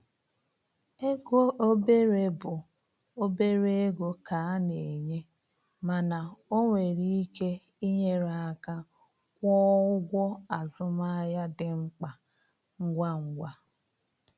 Ego obere bụ obere ego ka e na-enye, mana o nwere ike inyere aka kwụọ ụgwọ azụmahịa dị mkpa ngwa ngwa.